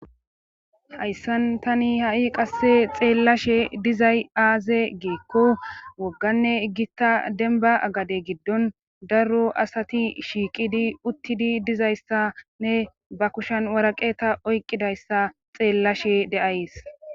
hayssan tani ha7i qasse xeellashe dizay aaze giikko wogganne igita denba agade giddon darro asati shiiqidi uttidi dizayssanne ba kushen waraqeta oyqqidayssa xeellashe de7ays